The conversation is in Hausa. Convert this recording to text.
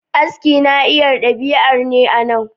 Aski Naiar daribiyar ne a nan